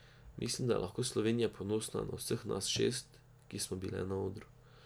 Mislim, da je lahko Slovenija ponosna na vseh nas šest, ki smo bile na odru.